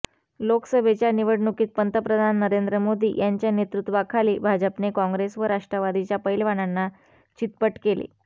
लोकसभेच्या निवडणुकीत पंतप्रधान नरेंद्र मोदी यांच्या नेतृत्वाखाली भाजपने काँग्रेस व राष्ट्रवादीच्या पैलवानांना चितपट केले